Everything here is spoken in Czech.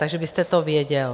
Takže byste to věděl.